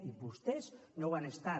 i vostès no ho han estat